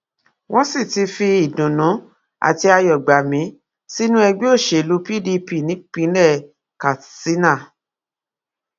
wọn sì ti fi ìdùnnú àti ayọ gbà mí sínú ẹgbẹ òṣèlú pdp nípínlẹ katsina